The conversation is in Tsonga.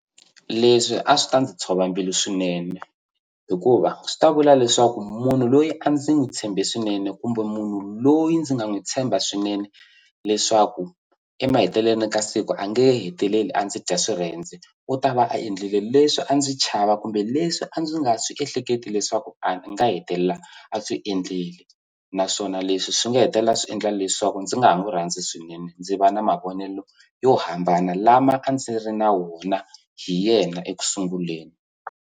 Leswi a swi ta ndzi tshova mbilu swinene hikuva swi ta vula leswaku munhu loyi a ndzi n'wi tshembe swinene kumbe munhu loyi ndzi nga n'wi tshemba swinene leswaku emahetelelweni ka siku a nge heteleli a ndzi dya swirhendze u ta va a endlile leswi a ndzi chava kumbe leswi a ndzi nga swi ehleketi leswaku a nga hetelela a swi endleli naswona leswi swi nga hetelela swi endla leswaku ndzi nga ha n'wi rhandzi swinene ndzi va na mavonelo yo hambana lama a ndzi ri na wona hi yena ekusunguleni.